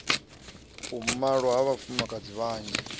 u malwa ha vhafumakadzi vhanzhi